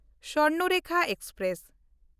Swarnarekha express